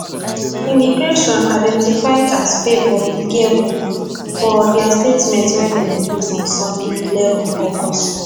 immigration identified as favour igiebor for dia statement wey dem release on sunday eleven august